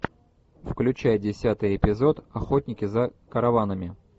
включай десятый эпизод охотники за караванами